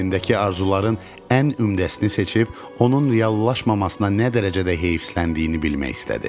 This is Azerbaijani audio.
Qəlbindəki arzuların ən ümdəsini seçib onun reallaşmamasına nə dərəcədə heyfsiləndiyini bilmək istədi.